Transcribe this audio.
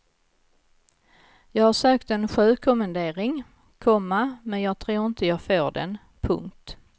Jag har sökt en sjökommendering, komma men jag tror inte jag får den. punkt